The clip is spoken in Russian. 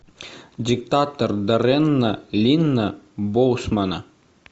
диктатор даррена линна боусмана